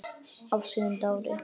Á sjöunda ári